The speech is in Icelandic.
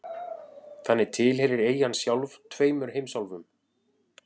Þannig tilheyrir eyjan sjálf tveimur heimsálfum.